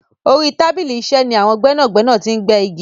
Orí tábìlì iṣẹ́ ni àwọn gbẹ́nàgbẹ́nà ti ń gbẹ́ igi.